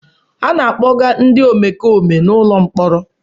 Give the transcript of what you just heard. A na-akpọga ndị omekome n'ụlọ mkpọrọ.